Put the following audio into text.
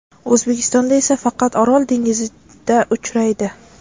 O‘zbekistonda esa faqat Orol dengizida uchraydi.